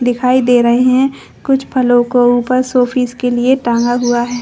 दिखाई दे रहै है कुछ फलो को ऊपर शोपीस के लिए टांगा हुआ है।